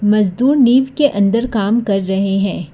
मजदूर नीव के अंदर काम कर रहे हैं।